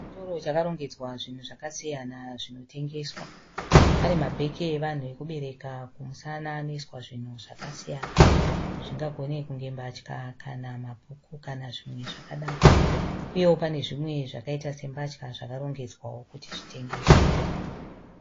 Chitoro chakarongedzwa zvinhu zvakasiyana zvinotengeswa. Pane mabheke evanhu okubereka kumusana anoiswa zvinhu zvakasiyana. Zvingagone kunge mbatya kana mabhuku kana zvimwe zvakadaro, uyewo pane zvimwewo zvakaita sembatya zvakarongedzwawo kuti zviatengeswe.